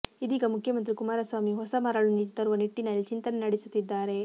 ಇದೀಗ ಮುಖ್ಯಮಂತ್ರಿ ಕುಮಾರಸ್ವಾಮಿ ಹೊಸ ಮರಳು ನೀತಿ ತರುವ ನಿಟ್ಟಿನಲ್ಲಿ ಚಿಂತನೆ ನಡೆಸುತ್ತಿದ್ದಾರೆ